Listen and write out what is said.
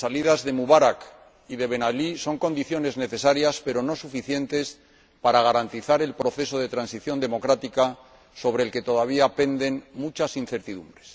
La salida de Mubarak y de Ben Alí son condiciones necesarias, pero no suficientes, para garantizar el proceso de transición democrática, sobre el que todavía penden muchas incertidumbres.